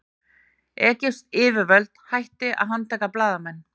Egypsk yfirvöld hætti að handtaka blaðamenn